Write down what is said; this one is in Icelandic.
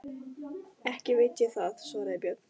Ekki veit ég það, svaraði Björn.